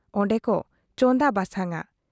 ᱚᱱᱰᱮ ᱠᱚ ᱪᱚᱸᱫᱟ ᱵᱟᱥᱟᱝ ᱟ ᱾